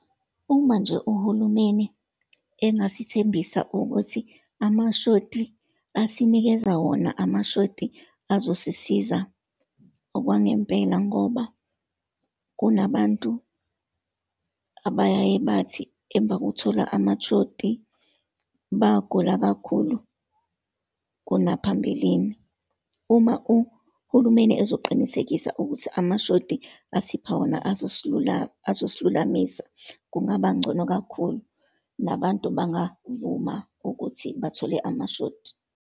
Uma nje uhulumeni engasithembisa ukuthi amashoti asinikeza wona, amashoti azosisiza okwangempela, ngoba kunabantu abayaye bathi emva kokuthola amashoti, bagula kakhulu kunaphambilini. Uma uhulumeni ezoqinisekisa ukuthi amashoti asipha wona, azosilula, azosilulamisa, kungaba ngcono kakhulu, nabantu bangavuma ukuthi bathole amashoti.